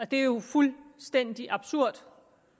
det er jo fuldstændig absurd